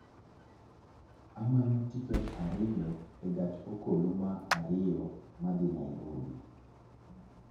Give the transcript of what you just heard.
Amanyo tiket ariyo e gach okoloma ariyo madhi Nairobi